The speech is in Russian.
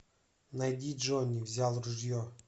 найди джонни взял ружье